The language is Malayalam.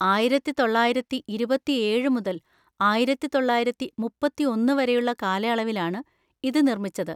ആയിരത്തി തൊള്ളായിരത്തി ഇരുപത്തി ഏഴ് മുതൽ ആയിരത്തി തൊള്ളായിരത്തി മുപ്പത്തിയൊന്ന് വരെയുള്ള കാലയളവിലാണ് ഇത് നിർമ്മിച്ചത്.